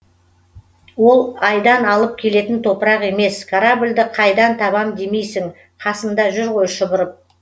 ол айдан алып келетін топырақ емес корабльді қайдан табам демейсің қасында жүр ғой шұбырып